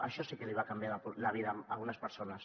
això sí que li va canviar la vida a algunes persones